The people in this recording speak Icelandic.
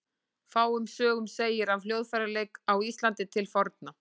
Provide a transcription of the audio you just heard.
Fáum sögum segir af hljóðfæraleik á Íslandi til forna.